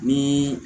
Ni